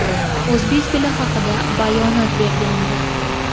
o‘zbek tili haqida bayonot bergandi.